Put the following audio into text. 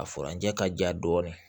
A furanjɛ ka diya dɔɔni